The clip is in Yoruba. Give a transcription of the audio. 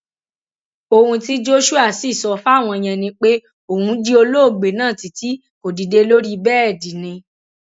òun tí joshua sì sọ fáwọn yẹn ni pé òun jí olóògbé náà títí kò dìde lórí bẹẹdì ni